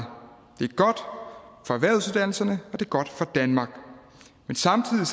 det er godt for erhvervsuddannelserne og det er godt for danmark men samtidig